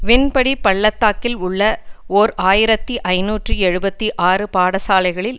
வின்படி பள்ளத்தாக்கில் உள்ள ஓர் ஆயிரத்தி ஐநூற்று எழுபத்து ஆறு பாடசாலைகளில்